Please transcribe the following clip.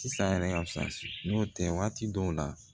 Sisan yɛrɛ fisaya n'o tɛ waati dɔw la